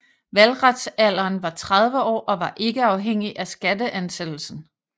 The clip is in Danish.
Valgretsalderen var 30 år og var ikke afhængig af skatteansættelsen